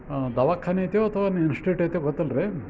ದವಾಖಾನೆ ಐತೆ ಇಲ್ಲ ಅಂದ್ರೆ ಎಸ್ಟೈತೆ ಗೊತ್ತಾ ಅಲ್ಲ ರೀ ಒಬ್ಬಳು.